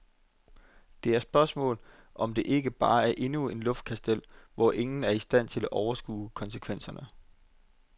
Det er spørgsmålet, om dette ikke bare er endnu et luftkastel, hvor ingen er i stand til at overskue konsekvenserne.